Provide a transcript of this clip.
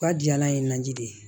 Ka diyala ye naji de ye